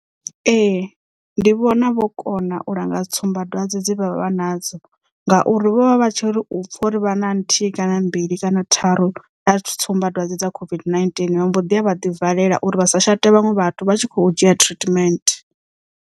Ee ndi vhona vho kona u langa tsumbadwadze dze vha vha vha nadzo ngauri vho vha vha tshiri upfha uri vha na nthihi kana mbili kana tharu dza tsumbadwadze dza COVID-19 vha mbo ḓi a vha ḓi valela uri vha sa shate vhaṅwe vhathu vha tshi kho dzhia treatment.